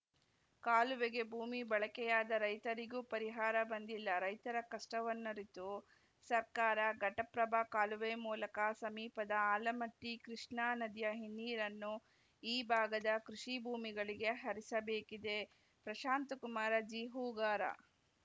ಕಾಲುವೆಗೆ ಭೂಮಿ ಬಳಕೆಯಾದ ರೈತರಿಗೂ ಪರಿಹಾರ ಬಂದಿಲ್ಲ ರೈತರ ಕಷ್ಟವನ್ನರಿತು ಸರ್ಕಾರ ಘಟಪ್ರಭಾ ಕಾಲುವೆ ಮೂಲಕ ಸಮೀಪದ ಆಲಮಟ್ಟಿಕೃಷ್ಣಾ ನದಿಯ ಹಿನ್ನಿರನ್ನು ಈ ಭಾಗದ ಕೃಷಿ ಭೂಮಿಗಳಿಗೆ ಹರಿಸಬೇಕಿದೆ ಪ್ರಶಾಂತಕುಮಾರ ಜಿಹೂಗಾರ